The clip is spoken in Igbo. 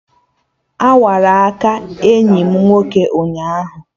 Awara aka enyi m nwoke ụnyaahụ